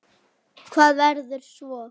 Hvað verður svo?